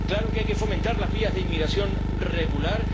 Claro que hay que fomentar las vías de inmigración regular.